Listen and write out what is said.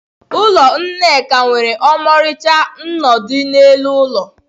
Ụlọ Nneka nwere ọmarịcha nnọdụ n'elu ụlọ.